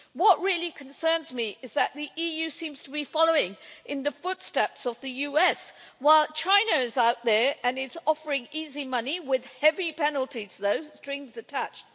What really concerns me is that the EU seems to be following in the footsteps of the USA, while China is out there and is offering easy money with heavy penalties, though, strings attached!